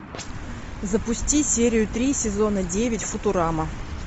запусти серию три сезона девять футурама